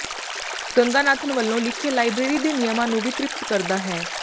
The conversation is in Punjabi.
ਰੰਗਾਨਾਥਨ ਵਲੋਂ ਲਿਖੇ ਲਾਇਬ੍ਰੇਰੀ ਦੇ ਨਿਯਮਾਂ ਨੂੰ ਵੀ ਤ੍ਰਿਪਤ ਕਰਦਾ ਹੈ